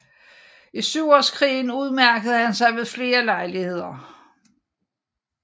I Syvårskrigen udmærkede han sig ved flere lejligheder